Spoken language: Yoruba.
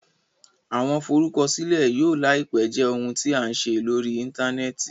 Awọn Forukọsilẹ yóò laipe jẹ ohun tí a n ṣe lórí interneti